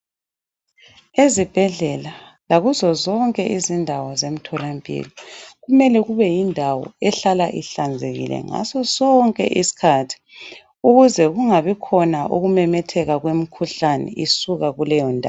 Ezibhedlela lakuzozonke izindawo zemtholampilo, kumele kubeyindawo ehlala ihlanzekile ngasosonke isikhathi ukuze kungabi khona ukumemetheka kwemikhuhlane esuka kuleyondawo.